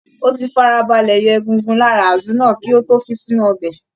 Ó ti farabalẹ̀ yọ egungun lára Azu náà kí ó tó fi sínú ọbẹ̀.